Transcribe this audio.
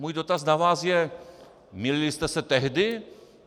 Můj dotaz na vás je: Mýlili jste se tehdy?